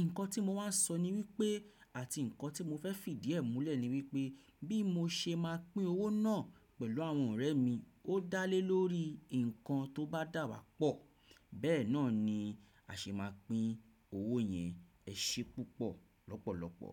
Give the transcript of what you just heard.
Ǹkan tí mo wàá sọ ni wípé àti ǹkan tí mo fẹ́ fì díẹ̀ múlẹ̀ ni wípé bí mo ṣe máa pín owó náà pẹ̀lú àwọn ọ̀rẹ́ mi ó dá lé lórí ǹkan tó bá dàwà pọ̀, bẹ́ẹ̀ náà ni a ṣe máa pín owó yẹn ẹṣẹ púpọ̀ lọ́pọ̀lọpọ̀.